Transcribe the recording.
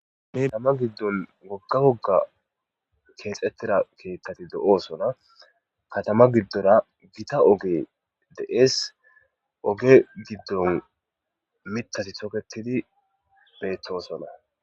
Katama giddon gogga wogga keexettira keeththati do7osona katama giddora gita oge de7ees oge giddon mitasi toketidi beettosona.